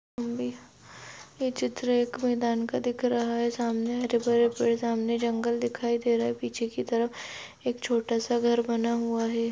यह चित्र एक मैदान का दिख रहा है सामने हरे-भरे पेड़ सामने एक जंगल दिखाई दे रह है पीछे की तरफ एक छोटा सा घर बना हुआ है।